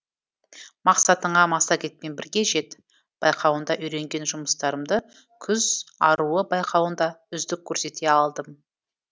мақсатыңа массагетпен бірге жет байқауында үйренген жұмыстарымды күз аруы байқауында үздік көрсете алдым